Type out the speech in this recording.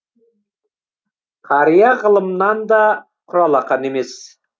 қария ғылымнан да құралақан емес